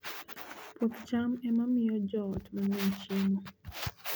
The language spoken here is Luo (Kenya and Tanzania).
Puoth cham ema miyo joot mang'eny chiemo.